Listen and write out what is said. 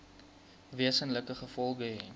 wesenlike gevolge hê